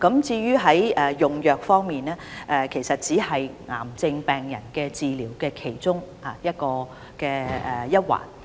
至於用藥方面，其實只是治療癌症病人的其中一環。